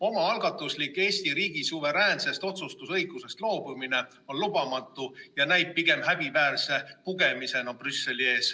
Omaalgatuslik Eesti riigi suveräänsest otsustusõigusest loobumine on lubamatu ja näib pigem häbiväärse pugemisena Brüsseli ees.